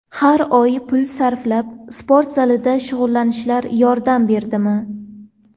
Har oy pul sarflab, sport zalida shug‘ullanishlar yordam berdimi?